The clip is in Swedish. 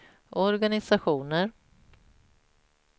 organisationer